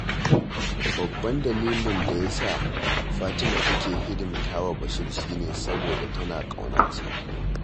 Babban dalilin da ya sa Fatima take hidimta wa Bashir shi ne, saboda tana ƙaunarsa